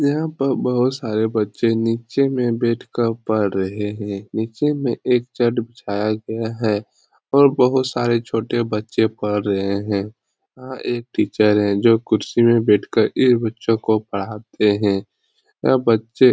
यहाँ पर बहुत सारे बच्चे नीचे में बैठ कर पढ़ रहे हैं । नीचें में एक चट बिछाया गया है और बहुत सारे छोटे बच्चे पढ़ रहे हैं । यहाँ एक टीचर है जो कुर्सी में बैठ कर ये बच्चो को पढ़ाते हैं । यह बच्चे --